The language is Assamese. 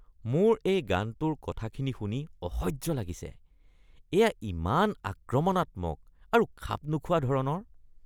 মোৰ এই গানটোৰ কথাখিনি শুনি অসহ্য লাগিছে। এয়া ইমান আক্ৰমণাত্মক আৰু খাপ নোখোৱা ধৰণৰ।